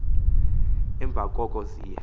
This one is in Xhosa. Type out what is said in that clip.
emva koko ziye